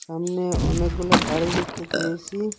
সামনে অনেকগুলো গাড়ি দেখতে পেয়েছি।